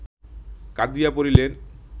কাঁদিয়া পড়িলেন